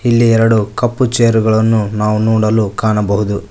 ಇಲ್ಲಿ ಎರಡು ಕಪ್ಪು ಚೇರುಗಳನ್ನು ನಾವು ನೋಡಲು ಕಾಣಬಹುದು.